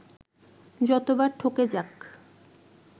যত বার ঠকে যাক